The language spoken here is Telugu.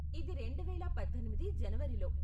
ఇది రెండువేల పద్దెనిమిది జనవరిలో.